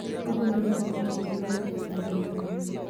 ogolo rango betie gi lowo kuom anyuola mabiro